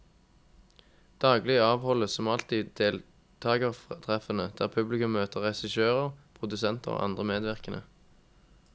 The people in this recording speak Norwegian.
Daglig avholdes som alltid deltagertreffene der publikum møter regissører, produsenter og andre medvirkende.